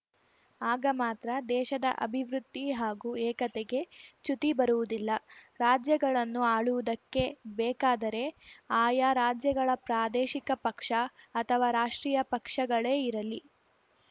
ಆಗ ಮಾತ್ರ ದೇಶದ ಅಭಿವೃದ್ಧಿ ಹಾಗೂ ಏಕತೆಗೆ ಚ್ಯುತಿ ಬರುವುದಿಲ್ಲ ರಾಜ್ಯಗಳನ್ನು ಆಳುವುದಕ್ಕೆ ಬೇಕಾದರೆ ಆಯಾ ರಾಜ್ಯಗಳ ಪ್ರಾದೇಶಿಕ ಪಕ್ಷ ಅಥವಾ ರಾಷ್ಟ್ರೀಯ ಪಕ್ಷಗಳೇ ಇರಲಿ